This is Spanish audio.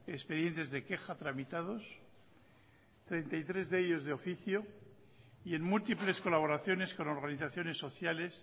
expedientes de queja tramitados treinta y tres de ellos de oficio y en múltiples colaboraciones con organizaciones sociales